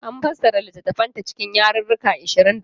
An fassara littattafanta cikin yarruruka ashirin da huɗu.